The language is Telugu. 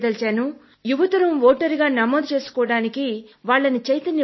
యువతరం ఓటరుగా నమోదు చేసుకునేందుకు చైతన్యపరచండి